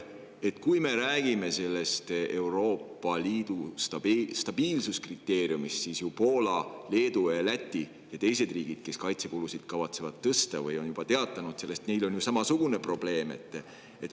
Kui me räägime Euroopa Liidu stabiilsuskriteeriumist, siis Poolal, Leedul ja Lätil ning teistel riikidel, kes kavatsevad kaitsekulusid tõsta või on sellest juba teatanud, on ju samasugune probleem.